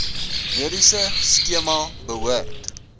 mediese skema behoort